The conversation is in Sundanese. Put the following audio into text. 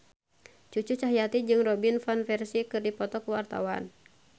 Cucu Cahyati jeung Robin Van Persie keur dipoto ku wartawan